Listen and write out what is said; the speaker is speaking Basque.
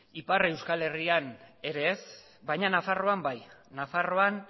ipar euskal herrian ere ez baina nafarroan bai nafarroan